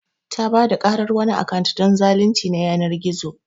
Ta Bada karar wani akant don zalunci na yanar gizo.